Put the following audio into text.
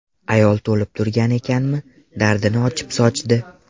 Ayol to‘lib turgan ekanmi, dardini ochib sochdi.